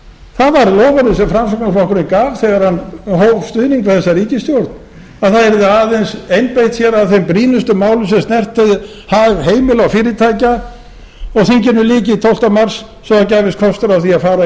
það var loforðið sem framsóknarflokkurinn gaf þegar hann hóf stuðning við þessa ríkisstjórn að það yrði aðeins einbeitt sér að þessum brýnustu málum sem snertu hag heimila og fyrirtækja og þinginu lyki tólfta mars svo það gæfist kostur á því að fara í